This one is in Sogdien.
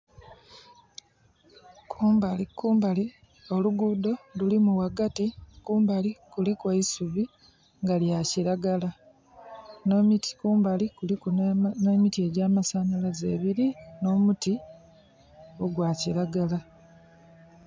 Kumbali kumbali oluguudo lulimu ghagati. Kumbali kuliku eisubi nga lya kiragala. N'emiti kumbali kuliku n'emiti egy'amasanhalaze ebili, n'omuti ogwa kiragala.